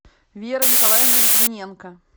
вера николаевна литвиненко